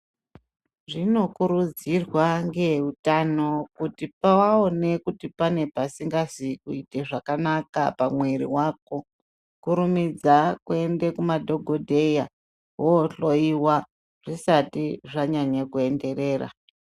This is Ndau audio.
Zvino kurudzirwa nehutano kuti pawaonekwa kuti pane pasingazi kuita zvakanaka mwiri wako kurimidza kuenda kuzvibhedhlera wohloiwa zvisati zvanyanya kuenderera.